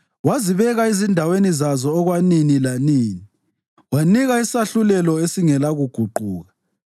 Wazibeka ezindaweni zazo okwanini lanini; wanika isahlulelo esingela kuguquka.